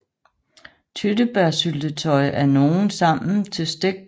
Tyttebærsyltetøj af nogle sammen til stegt kylling eller kalkun